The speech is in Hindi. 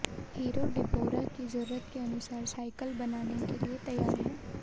हीरो डिबोरा की जरूरत के अनुसार साइकिल बनाने के लिए तैयार है